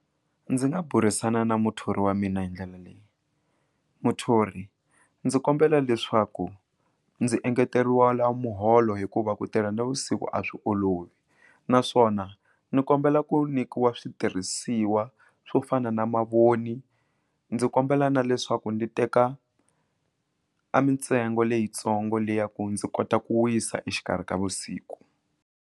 Ndzi nga burisana na muthori wa mina hi ndlela leyi muthori ndzi kombela leswaku ndzi engeteriwa muholo hikuva ku tirha navusiku a swi olovi naswona ni ku kombela ku nyikiwa switirhisiwa swo fana na mavoni ndzi kombela na leswaku ndzi teka a mintsengo leyitsongo leya ku ndzi kota ku wisa exikarhi ka vusiku.